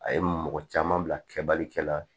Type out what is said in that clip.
A ye mɔgɔ caman bila kɛbali kɛ la